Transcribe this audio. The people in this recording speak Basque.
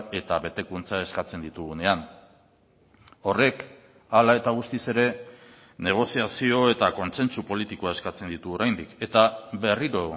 eta betekuntza eskatzen ditugunean horrek hala eta guztiz ere negoziazio eta kontsentsu politikoa eskatzen ditu oraindik eta berriro